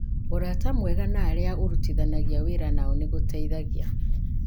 Ũrata mwega na arĩa ũrutithanagia wĩra nao nĩ gũteithagia